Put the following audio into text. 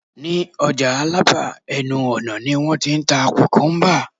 ní ọjà alaba, ẹnu ọnà ni won t'in ta kukumba